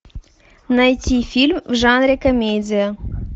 найти фильм в жанре комедия